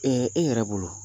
e yɛrɛ bolo